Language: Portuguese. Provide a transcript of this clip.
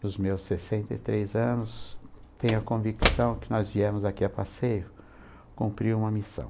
Nos meus sessenta e três anos, tenho a convicção que nós viemos aqui a passeio cumprir uma missão.